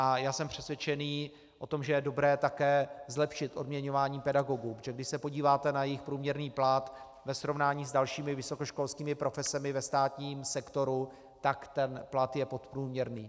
A já jsem přesvědčený o tom, že je dobré také zlepšit odměňování pedagogů, protože když se podíváte na jejich průměrný plat ve srovnání s dalšími vysokoškolskými profesemi ve státním sektoru, tak ten plat je podprůměrný.